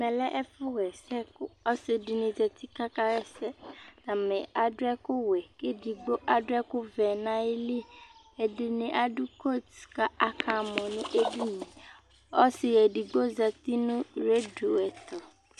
ɛmɛ lɛ ɛfu ɣa ɛsɛ kò ɔsi di ni zati k'aka ɣa ɛsɛ atani adu ɛkò wɛ k'edigbo adu ɛkò vɛ n'ayili ɛdi ni adu koat k'aka mɔ n'edini yɛ ɔsi edigbo zati no radio ɛto